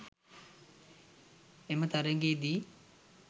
එම තරඟයේදී